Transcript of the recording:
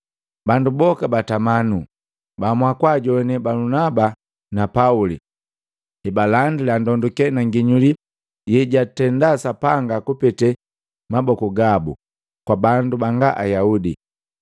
Bandu boka batama nuu, baamua kwajoane Balunaba na Pauli hebalandila ndonduke na nginyuli yejwatenda Sapanga kupete maboku gabu kwa bandu banga Ayaudi.